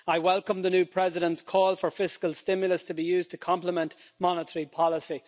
I welcome the new President's call for fiscal stimulus to be used to complement monetary policy.